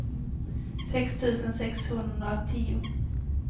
sex tusen sexhundratio